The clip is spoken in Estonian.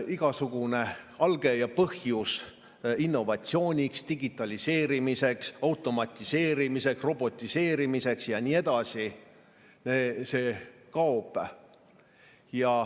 Igasugune alge ja põhjus innovatsiooniks, digitaliseerimiseks, automatiseerimiseks, robotiseerimiseks ja nii edasi kaob.